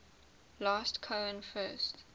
last cohen first